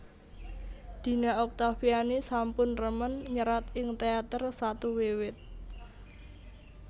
Dina Oktaviani sampun remen nyerat ing teater satu wiwit